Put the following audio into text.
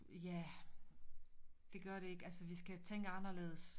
Ja det gør de ikke altså vi skal tænke anderledes